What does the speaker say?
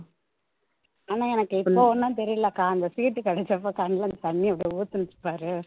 ஆனா எனக்கு இப்போ ஒண்ணும் தெரியல அக்கா அந்த சீட் கிடைச்சப்போ கண்ணுல இருந்து தண்ணீ அப்படியே ஊத்துனுச்சு பாரு